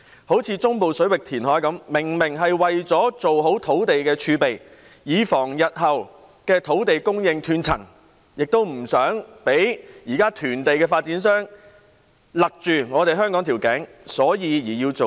例如，中部水域填海明明是為了建立土地儲備，以防日後土地供應斷層，亦為了不讓現時囤地的發展商勒緊香港的頸，所以要造地。